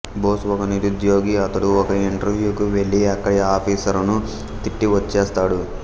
బోస్ ఒక నిరుద్యోగి అతడు ఒక ఇంటర్యూకు వెళ్ళి అక్కడి ఆఫీసరును తిట్టి వచ్చేస్తాడు